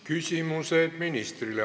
Küsimused ministrile.